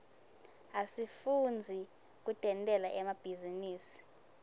asifundzi kutentela emabhizinisi